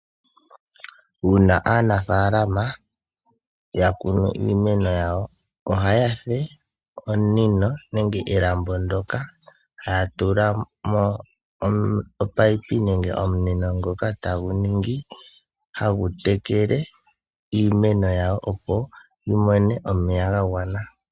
Uuna aanafaalama ya kunu iimeno yawo ohaya fulu omunino nenge elambo ndoka haya tulamo omunino ngoka tagu ningi tagu tekele iimeno yawo opo yimone omeya ga gwana.